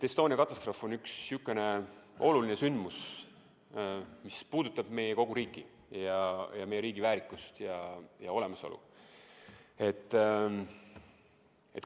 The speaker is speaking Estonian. Estonia katastroof on oluline sündmus, mis puudutab kogu meie riiki, meie riigi väärikust ja olemasolu.